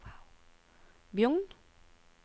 Bjugn